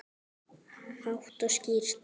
Hátt og skýrt.